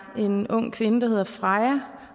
af en ung kvinde der hedder freja